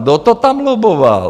Kdo to tam lobboval?